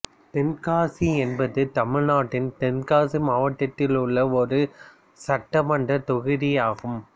தென்காசி என்பது தமிழ்நாட்டின் தென்காசி மாவட்டத்தில் உள்ள ஒரு சட்டமன்றத் தொகுதி ஆகும்